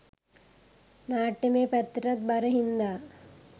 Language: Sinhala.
නාට්‍යමය පැත්තටත් බර හින්දා